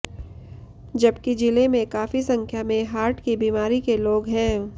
जबकि जिले में काफी संख्या में हार्ट की बीमारी के लोग हैं